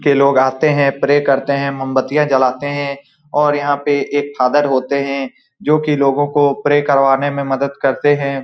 के लोग आते हैं प्रे करते हैं मोमबत्तियां जलाते हैं और यहाँ पे एक फादर होते हैं जो लोगों को प्रे करवाने में मदद करते हैं।